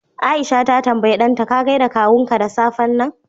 Aisha ta tambaya dan ta gaida kawunku da safen nan